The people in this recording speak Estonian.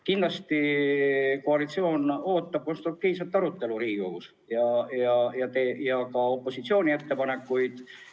Kindlasti ootab koalitsioon Riigikogus konstruktiivset arutelu ja opositsiooni ettepanekuid.